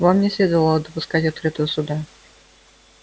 вам не следовало допускать открытого суда